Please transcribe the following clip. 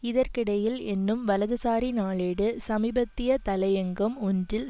இதற்கிடையில் என்னும் வலதுசாரி நாளேடு சமீபத்திய தலையங்கம் ஒன்றில்